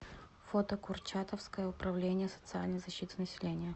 фото курчатовское управление социальной защиты населения